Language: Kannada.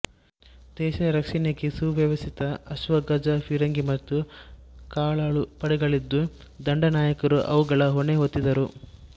ದೇಶರಕ್ಷಣೆಗೆ ಸುವ್ಯವಸ್ಥಿತ ಅಶ್ವ ಗಜ ಫಿರಂಗಿ ಮತ್ತು ಕಾಲಾಳು ಪಡೆಗಳಿದ್ದು ದಂಡನಾಯಕರು ಅವುಗಳ ಹೊಣೆಹೊತ್ತಿದ್ದರು